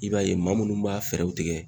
I b'a ye maa munnu b'a fɛɛrɛw tigɛ